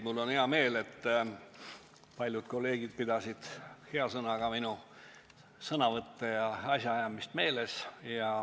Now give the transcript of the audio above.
Mul on hea meel, et paljud kolleegid meenutasid hea sõnaga minu sõnavõtte ja asjaajamist.